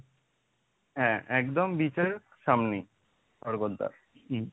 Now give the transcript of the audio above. হ্যাঁ একদম beach এর সামনেই স্বর্গদ্বার হম।